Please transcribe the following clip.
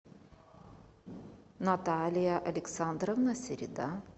наталья александровна середа